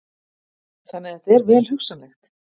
Þannig að þetta er vel hugsanlegt?